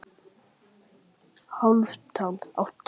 Hálfdan, áttu tyggjó?